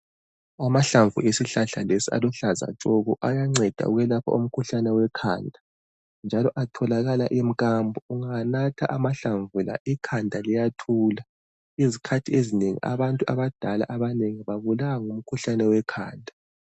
Amahlamvu esihlahla lesi aluhlaza tshoko, ayanceda ukwelapha umkhuhlane wekhanda, njalo atholakala emkambo. Ungawanatha amahlamvu la, ikhanda liyathula. Izikhathi ezinengi, abantu abadala abanengi, babulawa ngumkhuhlane wekhanda.